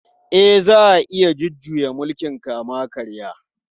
E, za a iya jujjuya mulkin kama-karya.